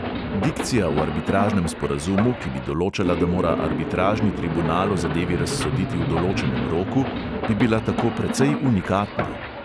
Dikcija v arbitražnem sporazumu, ki bi določala, da mora arbitražni tribunal o zadevi razsoditi v določenem roku, bi bila tako precej unikatna.